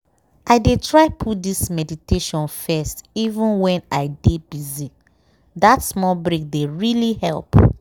i dey try put this meditation firsteven when i dey busy- that small break dey really help.